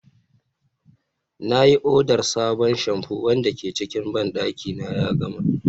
na yi odar sabon shamfu wanda ke cikin bandaki na ya gama